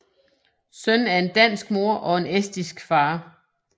Søn af en dansk mor og en estisk far